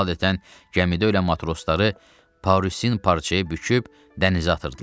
Adətən gəmidə ölə matrosları parusin parçaya büküb dənizə atırdılar.